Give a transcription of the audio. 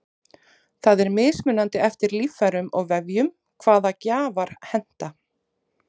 það er mismunandi eftir líffærum og vefjum hvaða gjafar henta